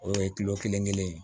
O ye kelen kelen ye